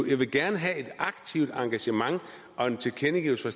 vil gerne have et aktivt engagement og en tilkendegivelse